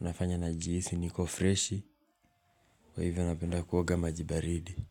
Unafanya najihisi niko fresh. Kwa hivyo napenda kuoga maji baridi.